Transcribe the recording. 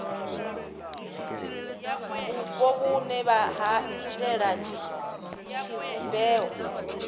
vhupo vhune ha iitela tshivhumbeo